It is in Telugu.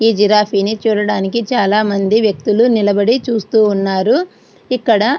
జిరాఫి ని చూడటానికి చాల మంది వెక్తులు నిలబడి చూస్తు ఉన్నారు. ఇక్కడ --